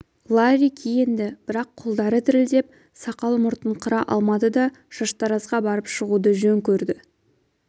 ларри киінді бірақ қолдары дірілдеп сақал-мұртын қыра алмады да шаштаразға барып шығуды жөн көрді